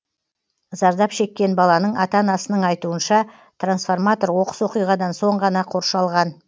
зардап шеккен баланың ата анасының айтуынша трансформатор оқыс оқиғадан соң ғана қоршалған